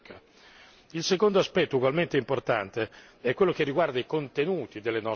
Il secondo aspetto, ugualmente importante, è quello che riguarda i contenuti delle nostre azioni.